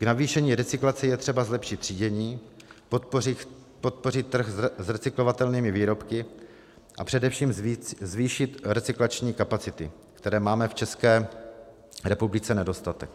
K navýšení recyklace je třeba zlepšit třídění, podpořit trh s recyklovatelnými výrobky a především zvýšit recyklační kapacity, kterých máme v České republice nedostatek.